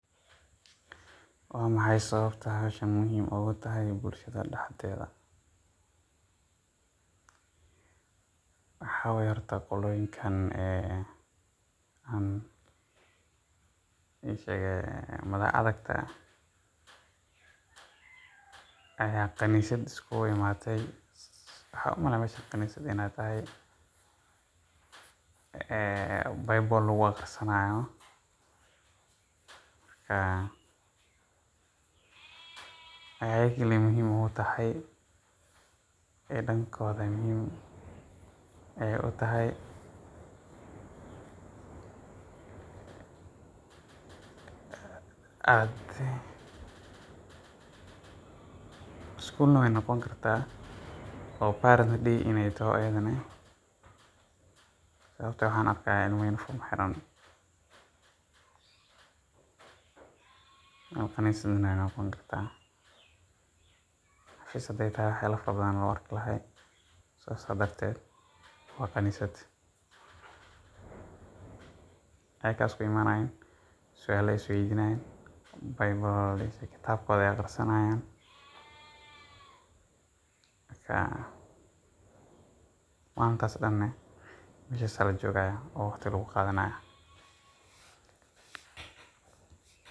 Waa maxay sababta meeshaan muhiim ugu tahay bulshada dhexdeeda? Waxay tahay: horta, qoloyinkaan ayaa kaniisad isku yimaada. Bible ayay ku akhrisanayaan. Ayaga un bay muhiim u tahay. School-na way noqon kartaa, oo parent day weeye inay tahay, oo waxaan arkaa ilmaha uniform xiran. Meel kaniisad un bay noqon kartaa. Sidaas darteed waa kaniisad ayaga iskugu imaanayaan. Su’aalo ayay is weydiinayaan ama kitaabkooda ayay akhrisanayaan. Maalintii dhan-na meeshaas ayaa la joogayaa, oo waqti ayaa lagu qaadanayaa.